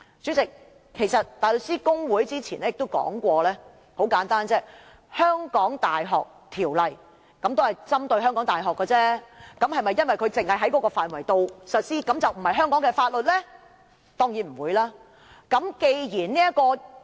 主席，大律師公會早前亦舉例，《香港大學條例》針對香港大學而制定，並在指定範圍內實施，但會否因這原因便不是香港的法律？